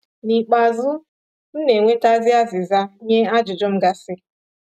Nikpeazụ, m na enwetazi azịza nye ajụjụ m gasi.